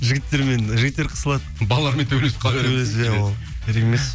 жігіттермен жігіттер қысылады балармен төбелесіп керек емес